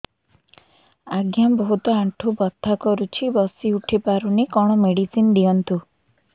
ଆଜ୍ଞା ବହୁତ ଆଣ୍ଠୁ ବଥା କରୁଛି ବସି ଉଠି ପାରୁନି କଣ ମେଡ଼ିସିନ ଦିଅନ୍ତୁ